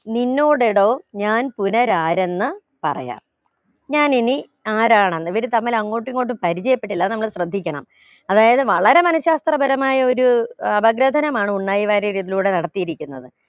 നിന്നോടെടോ ഞാൻ പുനരാരെന്ന പറയാ ഞാൻ ഇനി ആരാണെന്ന് ഇവർ തമ്മിൽ അങ്ങോട്ടും ഇങ്ങോട്ടും പരിചയപ്പെട്ടില്ല അത് നമ്മള് ശ്രദ്ധിക്കണം അതായത് വളരെ മനഃശാസ്ത്രപരമായ ഒരു ഏർ ഭദ്രസനമാണ് ഉണ്ണായി വാര്യർ ഇതിലൂടെ നടത്തിയിരിക്കുന്നത്